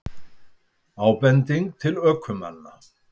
Ábending til ökumanna